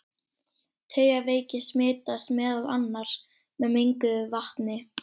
Taugaveiki smitast meðal annars með menguðu vatni.